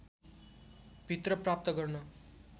भित्र प्राप्त गर्न